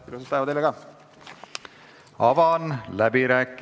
Ilusat päeva teile ka!